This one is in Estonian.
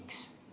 Miks?